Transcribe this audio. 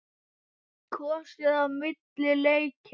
Kosið á milli leikja?